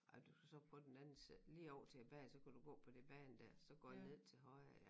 Ej du skal så på den anden side lige over tilbage så kan du gå på det bane dér så går den ned til højre ja